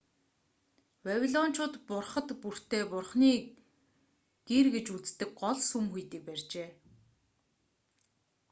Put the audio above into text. вавилончууд бурхад бүртээ бурханы гэр гэж үздэг гол сүм хийдийг барьжээ